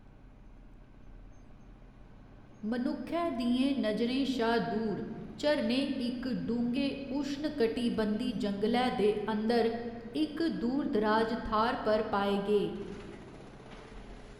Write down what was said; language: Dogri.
मनुक्खै दियें नजरें शा दूर, झरने इक डुंगे उश्णकटिबंधी जंगलै दे अंदर इक दूरदराज थाह्‌‌‌र पर पाए गे।